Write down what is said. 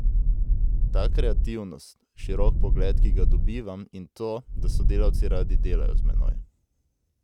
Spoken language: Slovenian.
Ta kreativnost, širok pogled, ki ga dobivam, in to, da sodelavci radi delajo z menoj.